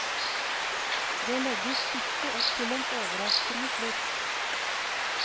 Det legges ikke opp til en overraskende slutt.